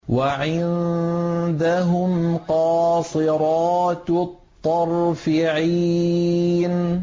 وَعِندَهُمْ قَاصِرَاتُ الطَّرْفِ عِينٌ